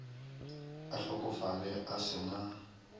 a hlokofale a se na